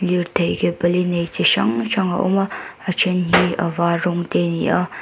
lirthei ke pali nei chi hrang hrang a awm a a ṭhen hi a var rawng te a ni a.